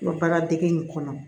N bɛ baaradege in kɔnɔ